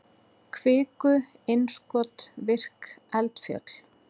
kviku-innskot virk eldfjöll